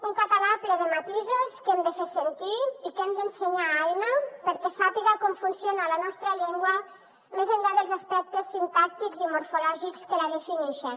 un català ple de matisos que hem de fer sentir i que hem d’ensenyar a aina perquè sàpiga com funciona la nostra llengua més enllà dels aspectes sintàctics i morfològics que la definixen